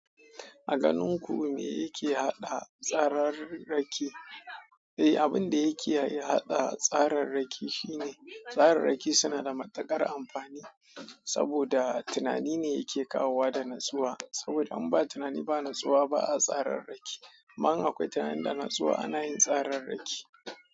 A ganin ku me yake haɗa tsarar rake? Eh, abin da yake hada tsarar rake shine tsarar rake suna da matuƙar amfani. Saboda tunani ne yake kawowa da natsuwa. Saboda in ba tunani da natsuwa ba a tsararraki. Amma in akwai tunani da natsuwa ana yin tsararraki.